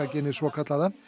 genið svokallaða